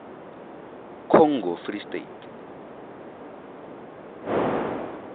congo free state